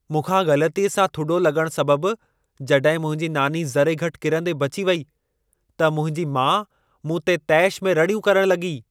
मूंखां ग़लतीअ सां थुॾो लॻण सबबु जॾहिं मुंहिंजी नानी ज़रे घटि किरंदे बची वेई, त मुंहिंजी माउ मूं ते तेश में रड़ियूं करण लॻी।